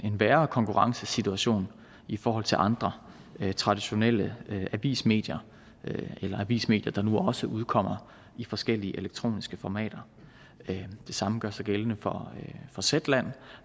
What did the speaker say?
værre konkurrencesituation i forhold til andre traditionelle avismedier eller avismedier der nu også udkommer i forskellige elektroniske formater det samme gør sig gældende for zetland